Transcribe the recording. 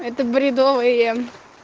это бредовые